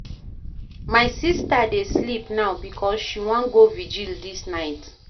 My sista dey sleep now because she wan go virgil dis night.